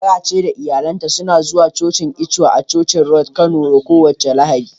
Grace da iyalinta suna zuwa cocin ECWA a Church road Kano kowace Lahadi.